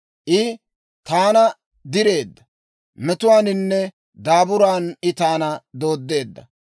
I taana direedda; metuwaaninne daaburan I taana dooddeedda.